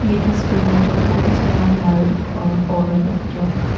ये तस्वीर में जो बहुत सारा मर्द और औरत लोग जो--